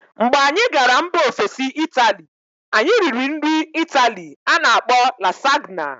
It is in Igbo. Mgbe anyị gara mba ofesi Ịtali, anyị riri nri Ịtali a na-akpọ Lasagna.